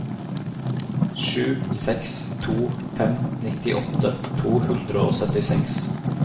sju seks to fem nittiåtte to hundre og syttiseks